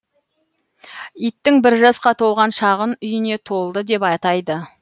иттің бір жасқа толған шағын үйіне толды деп атайды